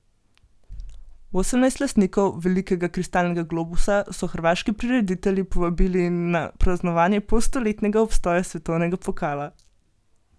Osemnajst lastnikov velikega kristalnega globusa so hrvaški prireditelji povabili na praznovanje polstoletnega obstoja svetovnega pokala.